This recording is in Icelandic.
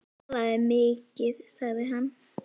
Hann talaði mikið sagði hann.